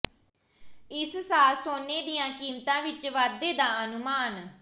ਇਸ ਸਾਲ ਸੋਨੇ ਦੀਆਂ ਕੀਮਤਾਂ ਵਿਚ ਵਾਧੇ ਦਾ ਅਨੁਮਾਨ